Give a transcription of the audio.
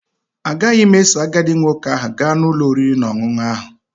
Agaghị m eso agadi nwoke ahụ gaa ụlọ oriri na ọṅụṅụ ahụ.